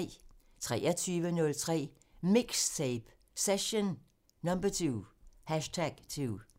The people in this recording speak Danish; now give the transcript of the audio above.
23:03: MIXTAPE – Session #2